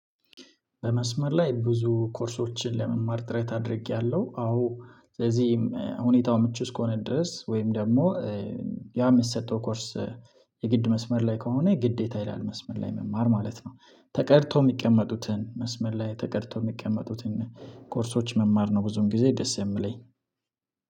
በመስመር ላይ ብዙ ኮርሶችን ለመማር ጥረት አድርጌያለሁ። አዎ ስለዚህም ሁኔታው ምቹ እስከሆነ ድረስ ወይም ደግሞ ያ የሚሰጠው ኮርስ የግድ መስመር ላይ ከሆነ የግዴታ ይላል መስመር ላይ መማር ማለት ነው ተቀድቶ የሚቀመጡትን መስመር ላይ ተቀድቶ የሚቀመጡትን ኮርሶች መማር ነው። ብዙም ጊዜ ደስ የምለኝ